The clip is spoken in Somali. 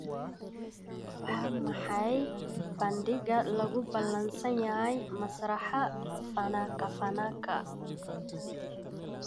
Waa maxay bandhigyada lagu ballansan yahay Masraxa Fanaka Fanaka?